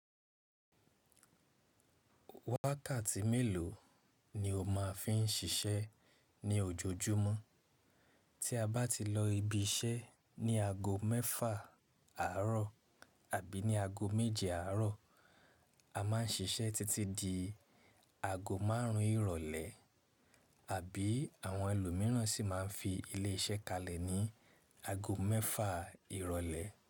Wákàtí mélòó ni o má ń fi ń siṣẹ́ ní ojojúmọ́? Tí a bá ti lọ ibi iṣẹ́ ní ago mẹ́fà àárọ̀ àbí ní ago méje àárọ̀, a má ń siṣẹ́ títí di ago márùn ún ìrọ̀lẹ́ àbí àwọn ẹlòmíràn si má ń fi ilé iṣẹ́ kalẹ̀ ní ago mẹ́fà ìrọ̀lẹ́.